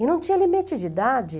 E não tinha limite de idade.